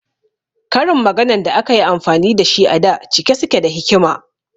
Karin maganan da akayi amfani dashi a da cike suke da hikima